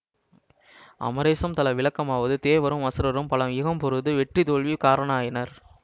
அமரேசம் தல விளக்கமாவது தேவரும் அசுரரும் பல யுகம் பொருது வெற்றி தோல்வி காரணாயினர்